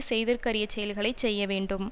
செய்தற்கரியச் செயல்களை செய்ய வேண்டும்